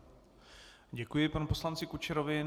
Děkuji panu poslanci Kučerovi.